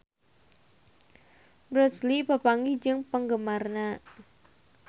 Bruce Lee papanggih jeung penggemarna